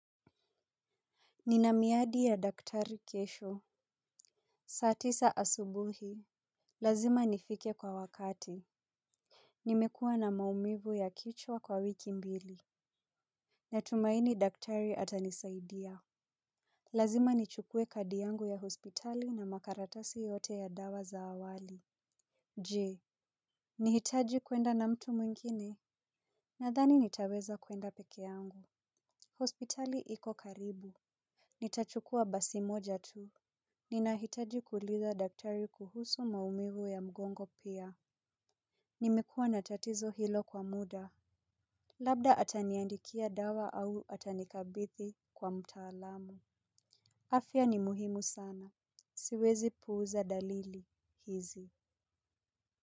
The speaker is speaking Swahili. Nina miadi ya daktari kesho. Saa tisa asubuhi lazima nifike kwa wakati. Nimekuwa na maumivu ya kichwa kwa wiki mbili. Natumaini daktari atanisaidia. Lazima nichukue kadi yangu ya hospitali na makaratasi yote ya dawa za awali. Je nihitaji kuenda na mtu mwingine. Nadhani nitaweza kwenda peke yangu. Hospitali iko karibu. Nitachukua basi moja tu. Ninahitaji kuuliza daktari kuhusu maumivu ya mgongo pia. Nimekuwa na tatizo hilo kwa muda. Labda ataniandikia dawa au atanikabithi kwa mtaalamu. Afya ni muhimu sana. Siwezi puuza dalili hizi.